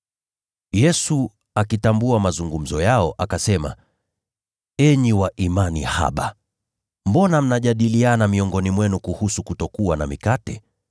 Yesu, akifahamu majadiliano yao, akauliza, “Enyi wa imani haba! Mbona mnajadiliana miongoni mwenu kuhusu kutokuwa na mikate?